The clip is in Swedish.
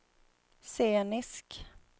scenisk